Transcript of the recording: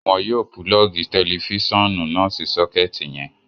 Wọn yóò pulọọgi tẹlifisiọnu náà sí soketi yẹn